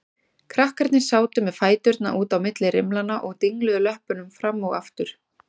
Krakkarnir sátu með fæturna út á milli rimlanna og dingluðu löppunum fram og aftur.